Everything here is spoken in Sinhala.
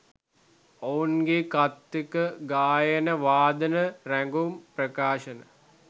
ඔවුන්ගේ කථික ගායන වාදන රැගුම් ප්‍රකාශන